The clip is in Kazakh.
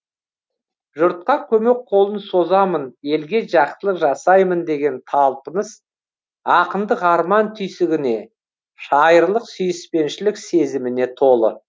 жұртқа көмек қолын созамын елге жақсылық жасаймын деген талпыныс ақындық арман түйсігіне шайырлық сүйіспеншілік сезіміне толы